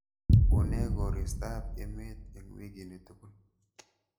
Unee koristob emet eng weekini tugul